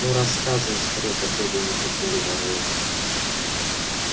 ну рассказывай скорее потребовал нетерпеливо рон